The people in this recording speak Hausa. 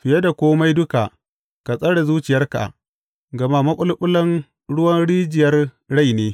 Fiye da kome duka, ka tsare zuciyarka, gama maɓulɓulan ruwan rijiyar rai ne.